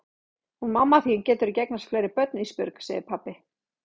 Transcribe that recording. Hún mamma þín getur ekki eignast fleiri börn Ísbjörg, segir pabbi.